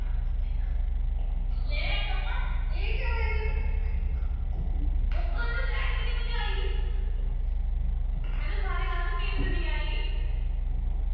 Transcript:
ਮੈਨੂੰ ਸਾਰੀ ਰਾਤ ਨੀਂਦ ਨੀ ਆਈ।